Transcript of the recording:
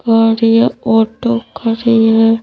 Car या auto खड़ी है।